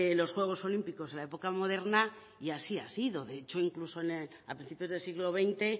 lo juegos olímpicos en la época moderna y así ha sido de hecho incluso a principios del siglo veinte